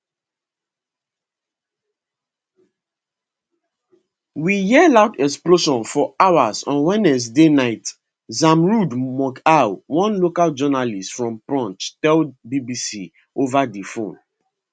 we hear loud explosions for hours on wednesday night zamrood mughal one local journalist from poonch tell bbc ova di phone